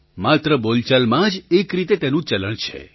માત્ર બોલચાલમાં જ એક રીતે તેનું ચલણ છે